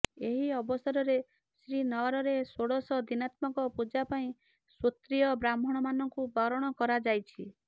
ଏହି ଅବସରରେ ଶ୍ରୀନଅରରେ ଷୋଡଶ ଦିନାମତ୍କ ପୂଜାପାଇଁ ଶୋତ୍ରିୟ ବ୍ରାହ୍ମଣ ମାନଙ୍କୁ ବରଣ କରାଯାଇଛି